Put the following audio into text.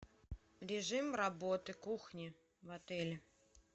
режим работы кухни в отеле